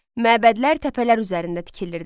Məbədlər təpələr üzərində tikilirdi.